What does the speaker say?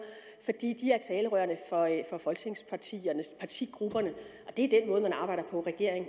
fordi de er talerørene for folketingspartigrupperne og det er den måde man arbejder på regering og